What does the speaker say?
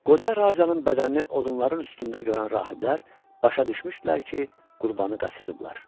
Qoca racanın bədənini odunların üstündə görən rahiblər başa düşmüşdülər ki, qurbanı qaçırıblar.